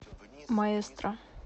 маэстро